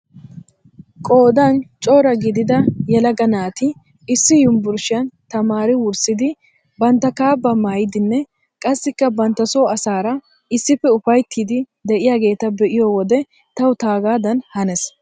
Qoodan cora gidida yelaga naati issi yumburshshaan tamaari wurssidi bantta kaabbaa maayidinne qassikka bantta soo asaara issippe ufayttidi de'iyaageta be'iyo wode tawu taagaadan hanees.